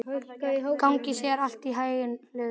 Gangi þér allt í haginn, Hlöður.